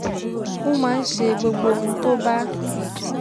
ó máa ń ṣe gbogbo ohun tó bá